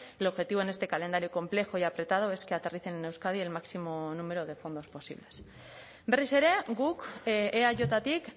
el objetivo en este calendario complejo y apretado es que aterricen en euskadi el máximo número de fondos posibles berriz ere guk eajtik